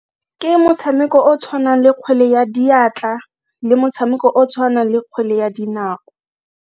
Ke motshameko o tshwanang le kgwele ya diatla le motshameko o tshwanang le kgwele ya dinao.